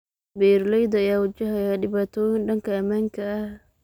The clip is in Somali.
Beeraleyda ayaa wajahaya dhibaatooyin dhanka ammaanka ah.